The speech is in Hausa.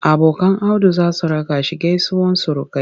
Abokan Audu za su raka shi gaisuwar surukai.